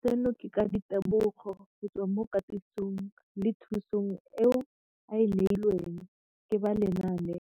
Seno ke ka ditebogo go tswa mo katisong le thu song eo a e neilweng ke ba Lenaane